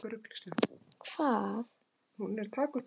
Og Sál varð að Páli.